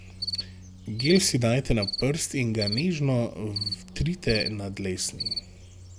Gel si dajte na prst in ga nežno vtrite na dlesni.